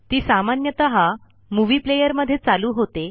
ती सामान्यतः movie player मध्ये चालू होते